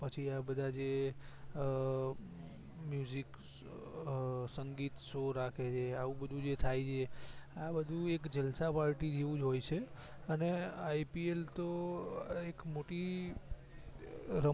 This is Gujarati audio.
પછી આ બધા જે અ music સંગીત show રાખે છે આવું બધું જે થાય છે આ બધું એક જલસા party જેવું હોય છે અને IPL તો એક મોટી રમત